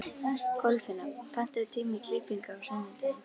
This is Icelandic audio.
Kolfinna, pantaðu tíma í klippingu á sunnudaginn.